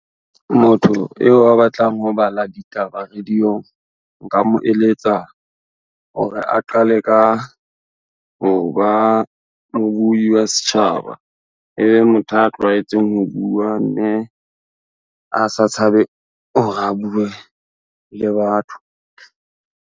Motho eo a batlang ho bala ditaba radio-ng, nka mo eletsa, hore a qale ka, ho ba mo buwi setjhaba ebe motho a tlwaetseng ho bua mme, a sa tshabe ho re a bue le batho.